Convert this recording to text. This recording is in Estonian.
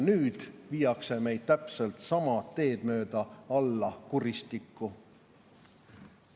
Nüüd viiakse meid täpselt sama teed mööda alla kuristikku.